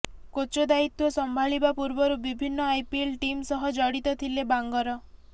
coach ଦାୟିତ୍ୱ ସମ୍ଭାଳିବା ପୂର୍ବରୁ ବିଭିନ୍ନ ଆଇପିଏଲ ଟିମ୍ ସହ ଜଡ଼ିତ ଥିଲେ ବାଙ୍ଗର